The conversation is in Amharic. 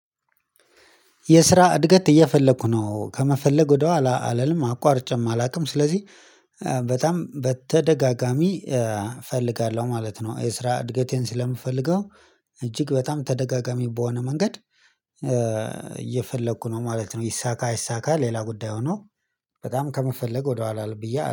የስራ እድገት እየፈለኩ ነው ከመፈለግ ወደኋላ አልልም አቋርጬም አላውቅም ስለዚህ በጣም በተደጋጋሚ እፈልጋለሁ ማለት ነው። የስራ እድገቴን ስለምፈልገው እጅግ በጣም ተደጋጋሚ በሆነ መንገድ እየፈለኩ ነው ማለት ነው። ይሳካ አይሳካ ሌላ ጉዳይ ሆኖ በጣም ከመፈለግ ወደኋላ ብዬ